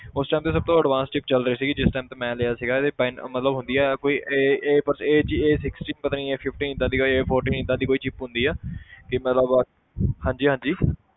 ਉਸ time ਦੀ ਸਭ ਤੋਂ advance chip ਚੱਲ ਰਹੀ ਸੀਗੀ ਜਿਸ time ਤੇ ਮੈਂ ਲਿਆ ਸੀਗਾ ਇਹਦੀ ਅਹ ਮਤਲਬ ਹੁੰਦੀ ਆ ਕੋਈ a a ਬਸ a g a sixty ਪਤਾ ਨੀ a fifteen ਏਦਾਂ ਦੀ ਕੋਈ a fourteen ਏਦਾਂ ਦੀ ਕੋਈ chip ਹੁੰਦੀ ਹੈ ਹਾਂਜੀ ਹਾਂਜੀ